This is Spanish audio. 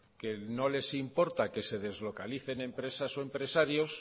que no les importa que se deslocalicen empresas o empresarios